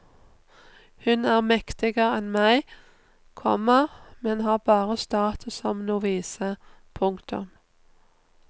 Hun er mektigere enn meg, komma men har bare status som novise. punktum